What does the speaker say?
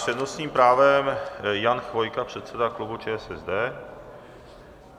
S přednostním právem Jan Chvojka, předseda klubu ČSSD.